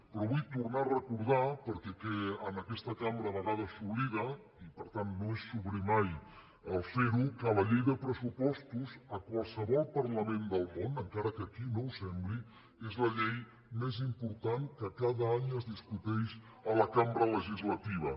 però vull tornar a recordar perquè en aquesta cambra a vegades s’oblida i per tant no és sobrer mai fer·ho que la llei de pressupostos a qualsevol parlament del món encara que aquí no ho sembli és la llei més im·portant que cada any es discuteix a la cambra legisla·tiva